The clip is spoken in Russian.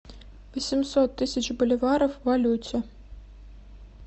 восемьсот тысяч боливаров в валюте